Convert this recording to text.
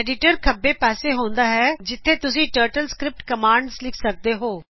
editor ਖੱਭੇ ਪਾਸੇ ਹੁੰਦਾ ਹੈ ਜਿਥੇ ਤੁਸੀਟਰਟਲ ਸਕ੍ਰਿਪਟ ਕਮਾਂਡਜ਼ ਲਿਖ ਸਕਦੇ ਹੋ